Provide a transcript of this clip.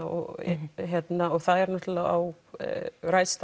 og það er náttúrulega á ræðst